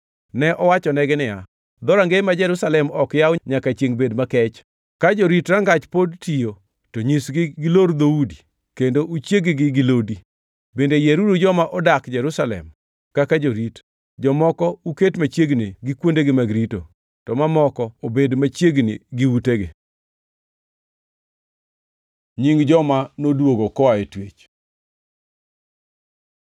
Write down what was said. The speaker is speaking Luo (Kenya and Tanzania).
Ne awachonegi niya, “Dhorangeye ma Jerusalem ok yaw nyaka chiengʼ bed makech. Ka jorit rangach pod tiyo, to nyisgi gilor dhoudi kendo uchieg-gi gi lodi. Bende yieruru joma odak Jerusalem kaka jorit, jomoko uket machiegni gi kuondegi mag rito, to mamoko ubed machiegni gi utegi.” Nying joma noduogo koa e twech